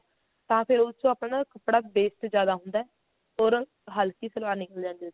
ਤਾਂ ਫਿਰ ਉਸ ਚੋਂ ਕੱਪੜਾ ਆਪਣਾ waste ਜ਼ਿਆਦਾ ਹੁੰਦਾ or ਹਲਕੀ ਸਲਵਾਰ ਨਿਕਲ ਆਉਂਦੀ ਆ